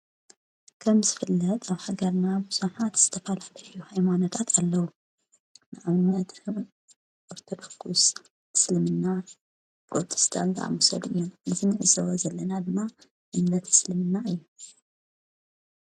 ከም ዝፍለጥ ኣብ ሃገርና ብዙሓት ዝተፋላልዩ ሃይማኖታት ኣለዉ ንኣውነድን ኦርተድኩስ ትስልምና ጵሮተስታን ቀኣሙሰድ እዮም ንትኒ እሰወ ዘለና ድማ ይምለት ይስልምና እዩ።